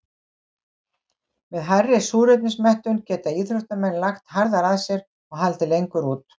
Með hærri súrefnismettun geta íþróttamenn lagt harðar að sér og haldið lengur út.